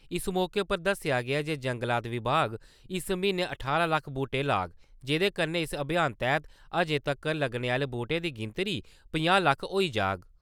इस मौके पर दस्सेआ गेआ जे जंगलात विभाग इस म्हीने ठारां लक्ख बूह्टे लाग, जेह्दे कन्नै इस अभियान तैह्त अज्जें तक्कर लग्गने आले बूह्टें दी गिनतरी पंजाह् लक्ख होई जाग।